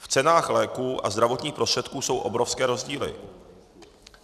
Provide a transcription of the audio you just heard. V cenách léků a zdravotních prostředků jsou obrovské rozdíly.